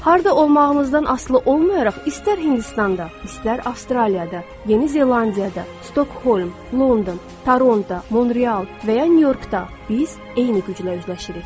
Harda olmağınızdan asılı olmayaraq, istər Hindistanda, istər Avstraliyada, Yeni Zelandiyada, Stokholm, London, Toronto, Monreal və ya Nyu-Yorkda, biz eyni güclə üzləşirik.